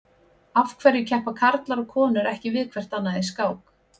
Af hverju keppa karlar og konur ekki við hvert annað í skák?